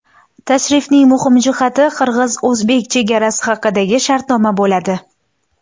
Tashrifning muhim hujjati qirg‘iz-o‘zbek chegarasi haqidagi shartnoma bo‘ladi.